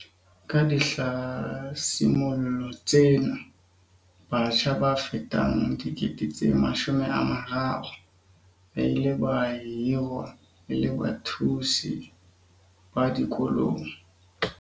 Ka dihlasimollo tsena, batjha ba fetang 300 000 ba ile ba hirwa e le bathusi ba dikolong.